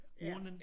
Urnen?